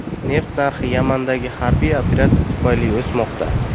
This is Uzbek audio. Neft narxi Yamandagi harbiy operatsiya tufayli o‘smoqda.